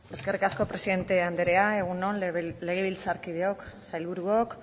eskerrik asko presidente andrea egun on legebiltzarkideok sailburuok